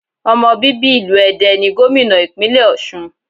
Ọmọ bíbí ìlú Ede ni Gómìnà ìpínlẹ̀ Òsun